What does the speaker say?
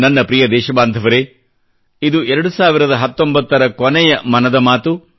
ನನ್ನ ಪ್ರಿಯ ದೇಶಬಾಂಧವರೆ ಇದು 2019 ರ ಕೊನೆಯ ಮನದ ಮಾತು